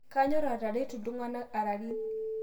Kanyor ateretu ltung'ana ararin